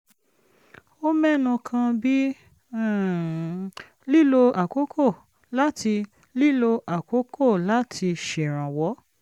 ó mẹ́nu kan bí um lílo àkókò láti lílo àkókò láti ṣèrànwọ́